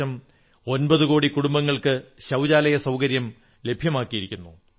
ഏകദേശം ഒമ്പതു കോടി കുടുംബങ്ങൾക്ക് ശൌചാലയസൌകാര്യം ലഭ്യമാക്കിയിരിക്കുന്നു